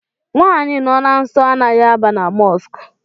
Nwaanyi nọ na nsọ anaghị aba na Mọsk